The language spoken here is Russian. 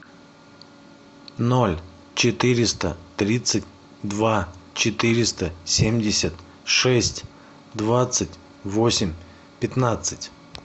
ноль четыреста тридцать два четыреста семьдесят шесть двадцать восемь пятнадцать